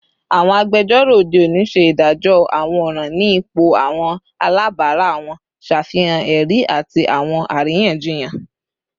Awọn agbẹjọro ode oni ṣe idajọ awọn ọran ni ipo awọn alabara wọn, ṣafihan ẹri ati awọn ariyanjiyan